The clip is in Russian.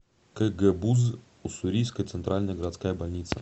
кгбуз уссурийская центральная городская больница